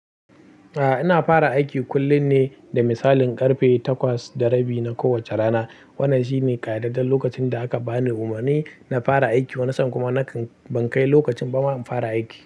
A'a, ina fara aiki kullum ne da misalin ƙarfe takwas da rabi na kowace rana. Wannan shi ne ƙayyadadden lokacin da aka bani umarni na fara aiki, wanni san kuma nakan ban kai lokacin bama in fara aiki.